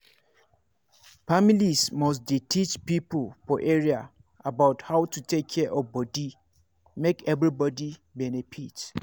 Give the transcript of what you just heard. families must dey teach people for area about how to take care of body make everybody benefit.